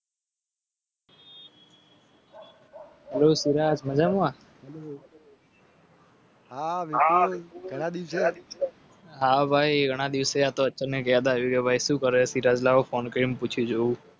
Hello Suraj મજામાં હ નિખિલ ઘણા દિવસે હા ભાઈ ઘણા દિવસે અચાનક યાદ આવી કે ભાઈ શું કરે